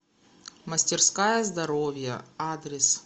мастерская здоровья адрес